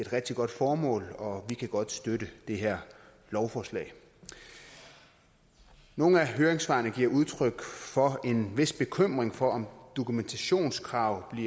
rigtig godt formål og vi kan godt støtte det her lovforslag i nogle af høringssvarene gives der udtryk for en vis bekymring for om dokumentationskravene